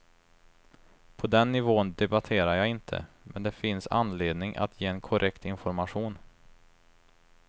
På den nivån debatterar jag inte, men det finns anledning att ge en korrekt information.